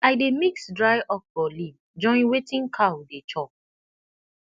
i dey mix dry okra leaf join wetin cow dey chop